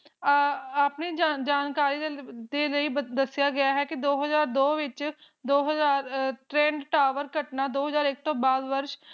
ਆਪਣੀ ਜਾਣਕਾਰੀ ਦੇ ਲਈ ਦੱਸਿਆ ਗਿਆ ਹੈ ਕਿ ਦੋ ਹਾਜ਼ਰ ਦੋ ਵਿੱਚ ਦੋ ਹਲਾਕ ਦੋ ਹਜਾਰ ਇੱਕ ਤੋਂ